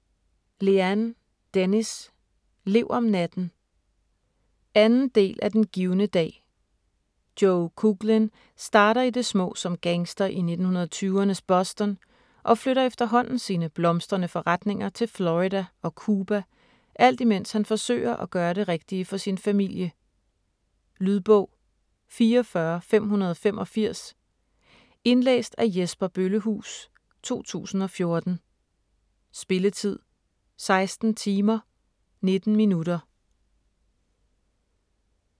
Lehane, Dennis: Lev om natten 2. del af Den givne dag. Joe Coughlin starter i det små som gangster i 1920'ernes Boston og flytter efterhånden sine blomstrende forretninger til Florida og Cuba, alt imens han forsøger at gøre det rigtige for sin familie. Lydbog 44585 Indlæst af Jesper Bøllehuus, 2014. Spilletid: 16 timer, 19 minutter.